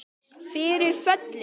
Fyrir föllin